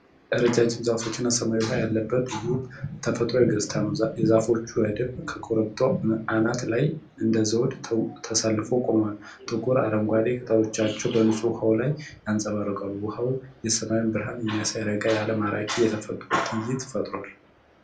ረዣዥም ዛፎችና ሰማያዊ ውሃ ያለበትን ውብ ተፈጥሮአዊ ገጽታ ነው። የዛፎች ረድፍ ከኮረብታው አናት ላይ እንደ ዘውድ ተሰልፈው ቆመዋል። ጥቁር አረንጓዴ ቅጠሎቻቸው በንፁህ ውሃው ላይ ያንፀባርቃሉ። ውኃው የሰማዩን ብርሃን የሚያሳይ ረጋ ያለ ማራኪ የተፈጥሮ ትዕይንት ፈጥሯል።